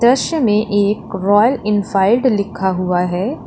दृश्य में एक रॉयल एनफील्ड लिखा हुआ है।